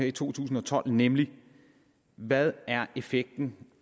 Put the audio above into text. i to tusind og tolv nemlig hvad er effekten